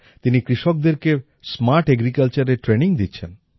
তিনি কৃষকদেরকে স্মার্ট agricultureএর ট্রেইনিং দিচ্ছেন